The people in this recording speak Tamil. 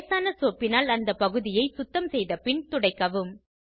லேசான சோப்பினால் அந்த பகுதியை சுத்தம் செய்த பின் துடைக்கவும்